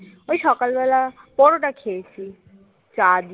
ওই সকালবেলা পরোটা খেয়েছি চা দিয়ে